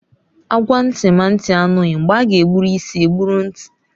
Agwawa nti ma nti anoghi, mgbe aga egburu isi egburu nti